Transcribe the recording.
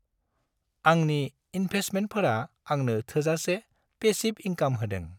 आंनि इन्भेस्टमेन्टफोरा आंनो थोजासे पेसिब इंकाम होदों।